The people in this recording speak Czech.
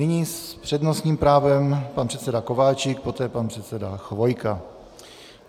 Nyní s přednostním právem pan předseda Kováčik, poté pan předseda Chvojka.